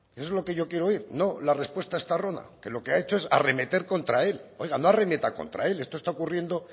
eso es lo que yo quiero oír no la respuesta estarrona que lo que ha hecho es arremeter contra él oiga no arremeta contra él esto está ocurriendo